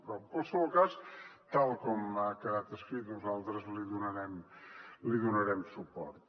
però en qualsevol cas tal com ha quedat escrit nosaltres hi donarem suport